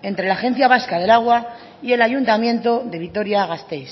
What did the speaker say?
entre la agencia vasca del agua y el ayuntamiento de vitoria gasteiz